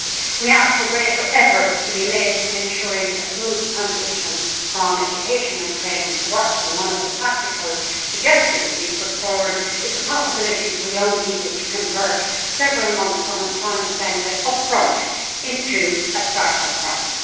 We asked for greater efforts to be made in ensuring a smooth transition from education and training to work, and one of the practical suggestions we put forward is to make it possible for young people to convert several months' unemployment benefit, up front, into a start up grant.